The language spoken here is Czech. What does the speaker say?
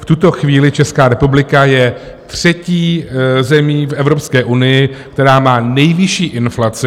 V tuto chvíli Česká republika je třetí zemí v Evropské unii, která má nejvyšší inflaci.